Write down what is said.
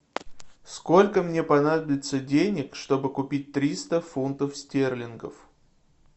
сколько мне понадобится денег чтобы купить триста фунтов стерлингов